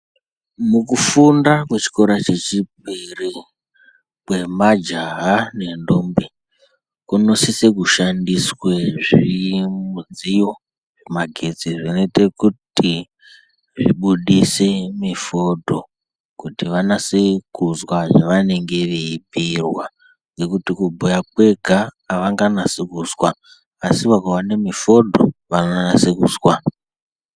Mukufunda kwechikora chechipiri kwemajaha nendombi kunosise kushandiswe zvii, midziyo yemagetsi zvinoite kuti zvibudise mifodho kuti vanese kuzwa zvavanenge veibhuyirwa ngekuti kubhuya kwega avanganasi kuzwa asi vakaone mifodho vanonase kuzwa.